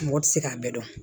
Mɔgɔ tɛ se k'a bɛɛ dɔn